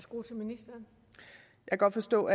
står